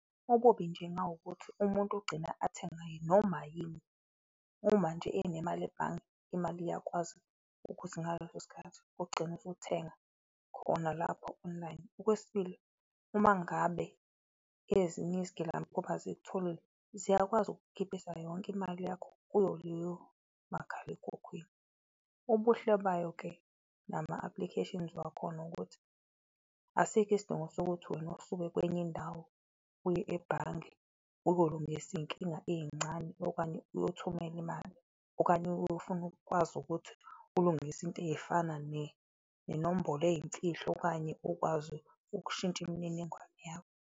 Okubi nje kungawukuthi umuntu ugcina athenge noma yini, uma nje enemali ebhange, imali iyakwazi ukuthi ngaleso sikhathi ugcine usuthenga khona lapho online. Okwesibili, uma ngabe ezinye izigilamkhuba zikutholile, ziyakwazi ukukukhiphisa yonke imali yakho kuwo loyo makhalekhukhwini. Ubuhle bayo-ke nama applications wakhona, ukuthi asikho isidingo sokuthi wena usuke kwenye indawo uye ebhange uyolungisa izinkinga ezincane okanye uyothumelela imali okanye uyofuna ukwazi ukuthi ulungise into ezifana nenombolo eyimfihlo okanye ukwazi ukushintsha imininingwane yakho.